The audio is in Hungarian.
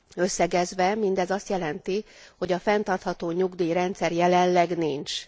Összegezve, mindez azt jelenti, hogy a fenntartható nyugdíjrendszer jelenleg nincs.